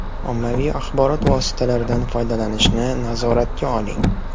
Ommaviy axborot vositalaridan foydalanishni nazoratga oling.